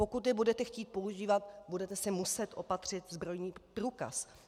Pokud je budete chtít používat, budete si muset opatřit zbrojní průkaz.